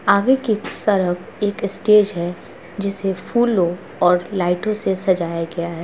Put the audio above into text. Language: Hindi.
आगे कि तरफ एक स्टेज हैं जिसे फूलो और लाइटों से सजाया गया हैं।